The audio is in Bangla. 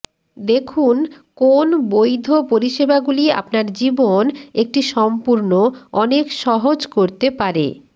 দেখুন কোন বৈধ পরিষেবাগুলি আপনার জীবন একটি সম্পূর্ণ অনেক সহজ করতে পারে